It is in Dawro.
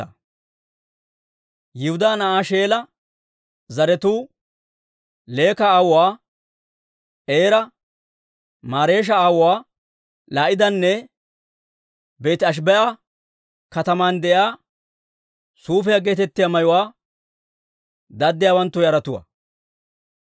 Yihudaa na'aa Sheela zaratuu Leeka aawuwaa Eera, Mareesha aawuwaa Laa'idanne Beeti-Ashibee'a kataman de'iyaa suufiyaa geetettiyaa mayuwaa daddiyaawanttu yaratuwaa.